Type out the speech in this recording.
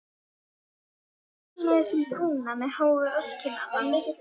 Ég er enn með þessum brúna með háu rasskinnarnar.